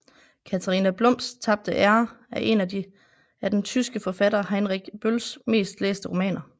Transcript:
Katharina Blums tabte ære er en af den tyske forfatter Heinrich Bölls mest læste romaner